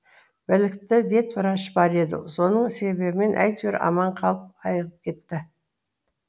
білікті ветврач бар еді соның себімен әйтеуір аман қалып айығып кетті